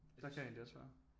Der kan jeg egentlig også være